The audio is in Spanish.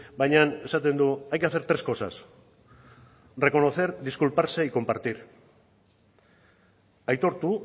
baina esaten du hay que hacer tres cosas reconocer disculparse y compartir aitortu